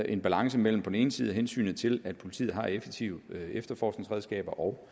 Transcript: en balance mellem på den ene side hensynet til at politiet har effektive efterforskningsredskaber og